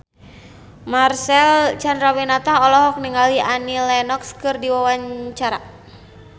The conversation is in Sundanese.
Marcel Chandrawinata olohok ningali Annie Lenox keur diwawancara